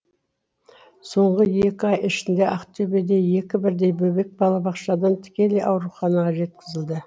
соңғы екі ай ішінде ақтөбеде екі бірдей бөбек балабақшадан тікелей ауруханаға жеткізілді